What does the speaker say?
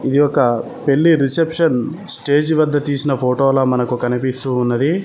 ఇది ఒక పెళ్లి రిసెప్షన్ స్టేజి వద్ద తీసిన ఫోటోలా మనకు కనిపిస్తూ ఉన్నది.